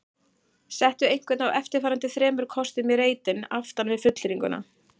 Settu einhvern af eftirfarandi þremur kostum í reitinn aftan við fullyrðinguna